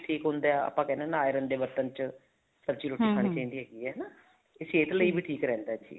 ਠੀਕ ਹੁੰਦਾ ਹੈ ਆਪਾਂ ਕਹਿਣੇ ਹਾਂ iron ਦੇ ਬਰਤਨ ਚ ਸਬਜੀ ਰੋਟੀ ਖਾਣੀ ਚਾਹੀਦੀ ਹੈਗੀ ਹੈ ਤੇ ਸਿਹਤ ਲਈ ਵੀ ਠੀਕ ਰਹਿੰਦਾ ਹੈ ਜੀ